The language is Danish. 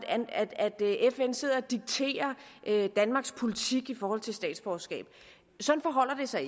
at fn sidder og dikterer danmarks politik i forhold til statsborgerskab sådan forholder det sig